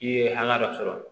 I ye hakɛ dɔ sɔrɔ